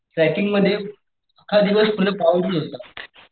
Tracking मध्ये अक्खा दिवस तिथं पाऊस येत होता.